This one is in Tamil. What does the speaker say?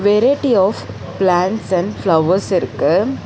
Variety of plants and flowers இருக்கு.